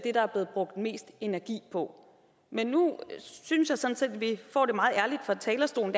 det der er blevet brugt mest energi på men nu synes jeg sådan set vi får det meget ærligt fra talerstolen